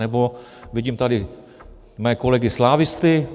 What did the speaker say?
Nebo - vidím tady své kolegy slávisty.